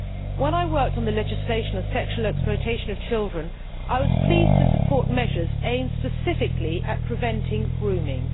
When I worked on legislation on sexual exploitation of children I was pleased to support measures aimed specifically at preventing grooming.